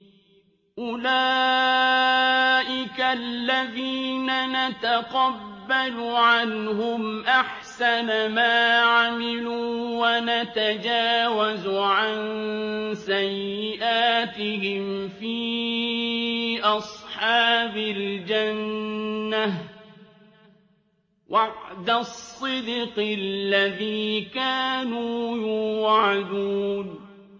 أُولَٰئِكَ الَّذِينَ نَتَقَبَّلُ عَنْهُمْ أَحْسَنَ مَا عَمِلُوا وَنَتَجَاوَزُ عَن سَيِّئَاتِهِمْ فِي أَصْحَابِ الْجَنَّةِ ۖ وَعْدَ الصِّدْقِ الَّذِي كَانُوا يُوعَدُونَ